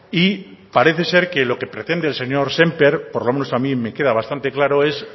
y parece ser que lo que pretende el señor sémper por lo menos a mí me queda bastante claro es